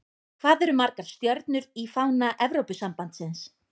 Hvað eru margar stjörnur í fána Evrópusambandsins?